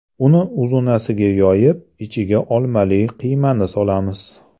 Uni uzunasiga yoyib, ichiga olmali qiymani solamiz.